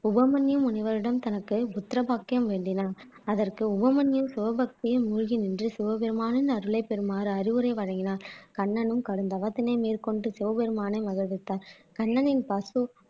உவமன்ய முனிவரிடம் தனக்கு புத்திர பாக்கியம் வேண்டினான் அதற்கு உவமன்ய சிவபக்தியில் மூழ்கி நின்று சிவபெருமானின் அருளை பெறுமாறு அறிவுரை வழங்கினார் கண்ணனும் கடும் தவத்தினை மேற்கொண்டு சிவபெருமானை மகிழ்வித்தார் கண்ணனின் பசு